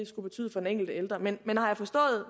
skulle betyde for den enkelte ældre man